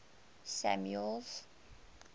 samuel's